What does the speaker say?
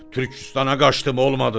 Türküstana qaçdım olmadı.